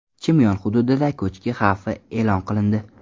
Chimyon hududida ko‘chki xavfi e’lon qilindi.